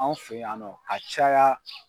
Anw fɛ yannɔ a caya.